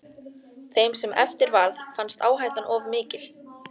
Þeim sem eftir varð fannst áhættan of mikil.